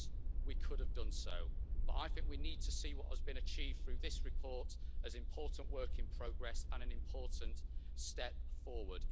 Yes, we could have done so, but I think we need to see what has been achieved through this report as important work in progress and an important step forward.